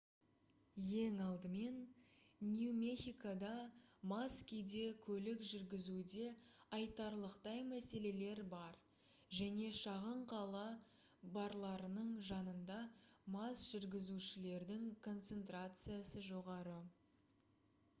ең алдымен нью мехикода мас күйде көлік жүргізуде айтарлықтай мәселелер бар және шағын қала барларының жанында мас жүргізушілердің концентрациясы жоғары